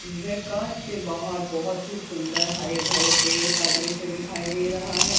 वे कांच से बाहर बहोत ही सुंदर हरे भरे पेड़ का दृश्य दिखाई दे रहा है।